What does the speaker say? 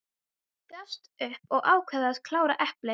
Ég gafst upp og ákvað að klára eplið.